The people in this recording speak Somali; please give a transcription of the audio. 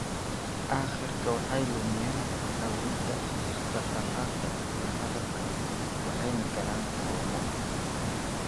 Aakhirka waxay lumiyaan awoodda dhaqdhaqaaqa iyo hadalka waxayna galaan koomo.